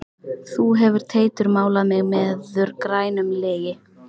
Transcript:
Þú hefur Teitur málað mig meður grænum legi.